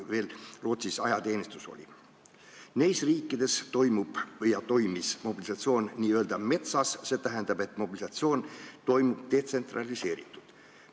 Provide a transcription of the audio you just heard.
Neis riikides toimus ja toimub mobilisatsioon n-ö metsas, st mobilisatsioon toimub detsentraliseeritult.